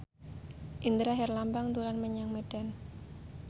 Indra Herlambang dolan menyang Medan